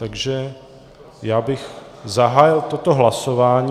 Takže já bych zahájil toto hlasování.